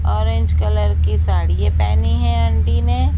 Orange colour की साड़िये पहनी है आंटी ने।